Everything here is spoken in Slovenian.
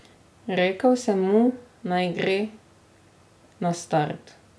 Rekel sem mu, naj gre na start.